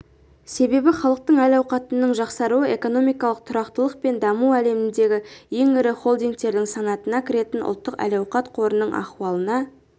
себебі халықтың әл-ауқатының жақсаруы экономикалық тұрақтылық пен даму әлемдегі ең ірі холдингтердің санатына кіретін ұлттық әл-ауқат қорының ахуалына